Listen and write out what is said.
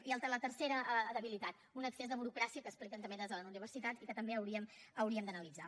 i la tercera debilitat un excés de burocràcia que expliquen també des de les universitats i que també hauríem d’analitzar